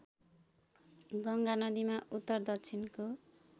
गङ्गा नदीमा उत्तरदक्षिणको